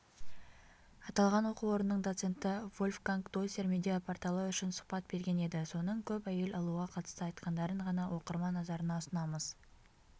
аталған оқу орнының доценті вольфганг дойсер медиа-порталы үшін сұхбат берген еді соның көп әйел алуға қатысты айтқандарын ғана оқырман назарына ұсынамыз